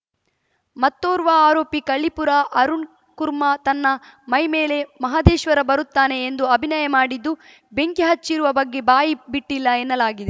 ಮತ್ತೋರ್ವ ಆರೋಪಿ ಕಳ್ಳೀಪುರ ಅರುಣ್‌ ಕುರ್ಮಾ ತನ್ನ ಮೈಮೇಲೆ ಮಹದೇಶ್ವರ ಬರುತ್ತಾನೆ ಎಂದು ಅಭಿನಯ ಮಾಡಿದ್ದು ಬೆಂಕಿ ಹಚ್ಚಿರುವ ಬಗ್ಗೆ ಬಾಯಿ ಬಿಟ್ಟಿಲ್ಲ ಎನ್ನಲಾಗಿದೆ